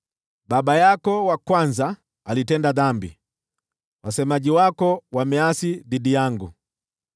Baba yako wa kwanza alitenda dhambi, wasemaji wako wameasi dhidi yangu.